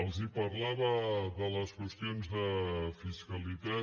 els parlava de les qüestions de fiscalitat